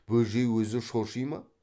бөжей өзі шоши ма